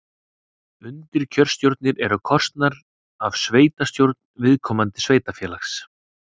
Undirkjörstjórnir eru kosnar af sveitastjórn viðkomandi sveitarfélags.